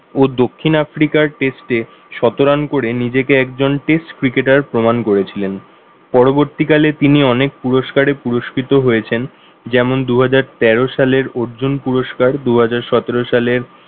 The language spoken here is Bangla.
ও দক্ষিণ আফ্রিকার test এ শত রান করে নিজেকে একজন test cricket আর প্রমান করেছিলেন। পরবর্তীকালে তিনি অনেক পুরুস্কারে পুরস্কিত হয়েছেন যেমন দুহাজার তেরো সালের অর্জন পুরুস্কার দুহাজার সতেরো সালের